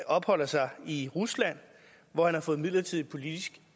opholder sig i rusland hvor han har fået midlertidig politisk